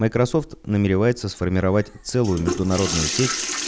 микрасофт намеревается сформировать целую международную сеть